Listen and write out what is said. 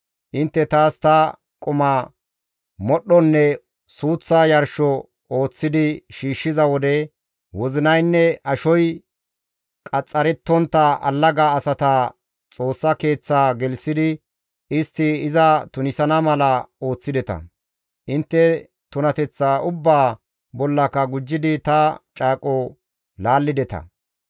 Intte taas ta quma, modhdhonne suuththa yarsho ooththidi shiishshiza wode, wozinaynne ashoy qaxxarettontta allaga asata Xoossa Keeththa gelththidi istti iza tunisana mala ooththideta. Intte tunateththa ubbaa bollaka gujjidi ta caaqoza laallideta.